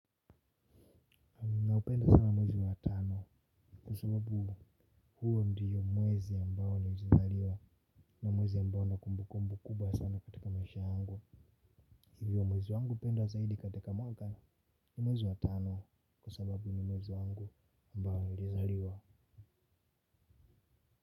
Naupenda sana mwezi wa tano kwa sababu huo ndio mwezi ambao nilizaliwa na mwezi ambao ina kumbukumbu kubwa sana katika maisha yangu. Hivyo mwezi wangu hupenda zaidi katika mwaka ni mwezi wa tano kwa sababu ni mwezi wangu ambao nilizaliwa.